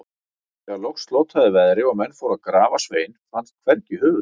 Þegar loks slotaði veðri og menn fóru til að grafa Svein, fannst hvergi höfuðið.